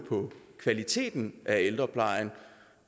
kvaliteten af ældreplejen